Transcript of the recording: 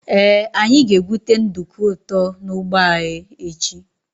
Ee anyị ga-egwute nduku ụtọ n' ụgbọ anyị echi.